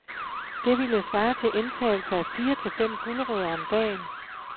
Det ville svare til indtagelse af fire til fem gulerødder om dagen.